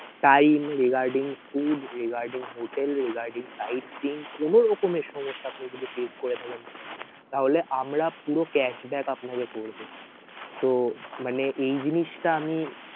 time regarding food regarding hotel regarding sightseeing কোনোরকমের সমস্যা আপনি যদি face করে থাকেন sir তাহলে আমরা পুরো cashback আপনাকে করবো so মানে এই জিনিসটা আমি